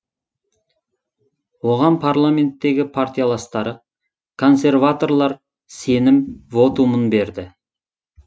оған парламенттегі партияластары консерваторлар сенім вотумын берді